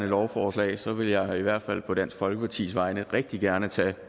lovforslag så vil jeg i hvert fald på dansk folkepartis vegne rigtige gerne tage